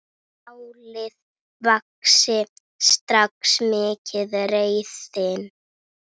Málið vakti strax mikla reiði.